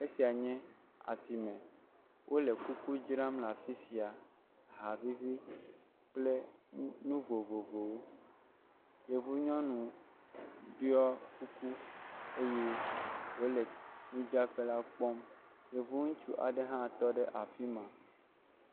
Esiae nye asime. Wole kuku dzram le afi sia, aha vivi kple nu vovovowo. Yevunyɔnu ɖɔ kuku eye wole nudzraƒe la kpɔm. Yevu ŋutsu aɖe hã tɔ ɖe afi ma.